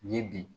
Ye bi